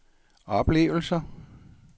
oplevelser